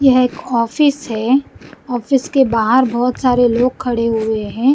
यह एक ऑफिस है ऑफिस के बाहर बहोत सारे लोग खड़े हुए हैं।